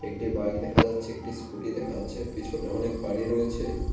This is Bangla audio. একটি বাইক দেখা যাচ্ছে একটি স্কুটি দেখা যাচ্ছে পেছনে অনেক বাড়ি রয়েছে।